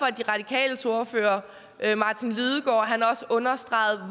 at de radikales ordfører herre martin lidegaard også understregede